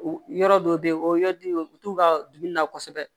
U yɔrɔ dɔw bɛ yen o yɔrɔ di u t'u ka dumuni na kosɛbɛ